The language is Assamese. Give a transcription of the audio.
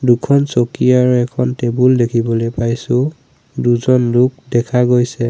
দুখন চকী আৰু এখন টেবুল দেখিবলে পাইছোঁ দুজন লোক দেখা গৈছে।